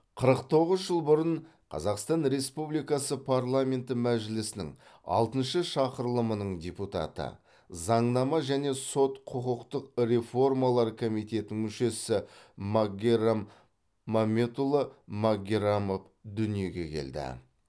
қырық тоғыз жыл бұрын қазақстан республикасы парламенті мәжілісінің алтыншы шақырылымының депутаты заңнама және сот құқықтық реформалар комитетінің мүшесі магеррам мамедұлы магеррамов дүниеге келді